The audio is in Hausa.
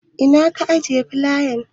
Ina ka ajiye filayan?